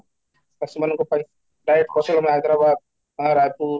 ଚାଷୀ ମାନଙ୍କ ପାଇଁ ପ୍ରାୟ Hyderabad ରାଇପୁର